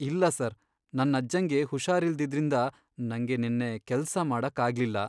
ಇಲ್ಲ ಸರ್, ನನ್ ಅಜ್ಜಂಗೆ ಹುಷಾರಿಲ್ದಿದ್ರಿಂದ ನಂಗೆ ನೆನ್ನೆ ಕೆಲ್ಸ ಮಾಡಕ್ಕಾಗ್ಲಿಲ್ಲ.